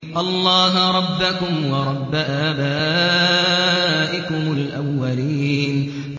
اللَّهَ رَبَّكُمْ وَرَبَّ آبَائِكُمُ الْأَوَّلِينَ